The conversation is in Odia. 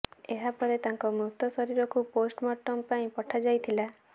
ଏହା ପରେ ତାଙ୍କ ମୃତ ଶରୀରକୁ ପୋଷ୍ଟ ମର୍ଟମ୍ ପାଇଁ ପଠାଯାଇଥିଲା